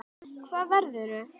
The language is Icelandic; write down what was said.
Hvað verður?